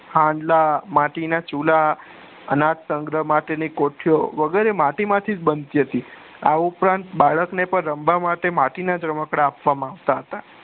હાજલા માટીના ચુલા અનાજ સંગ્ર ની માટે ની કોઠીઓ વગેરે માટી માંથી જ બનતી હતી આ ઉપરાંત બાળક ને પણ રમવા માટે માટીના જ રમકડા આપવામાં આવતા હતા.